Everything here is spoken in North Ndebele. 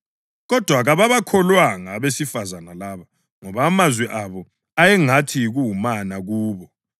Kodwa kababakholwanga abesifazane laba, ngoba amazwi abo ayengathi yikuwumana kubo.